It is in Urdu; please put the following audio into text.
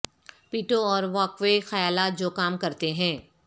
پیٹو اور واک وے خیالات جو کام کرتے ہیں